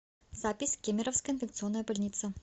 запись кемеровская инфекционная больница